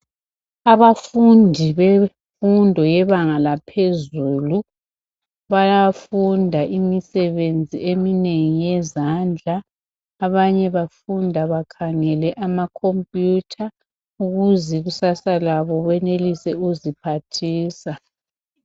Abafundi bemfundo yebanga laphezulu bayafunda imisebenzi eminengi yezandla. Abanye bafunda bakhangele amakhompiyutha ukuze ikusasa labo benelise ukuziphathisa.